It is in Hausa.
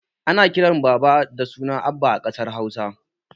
Ana kiran baba da suna abba a ƙasar hausa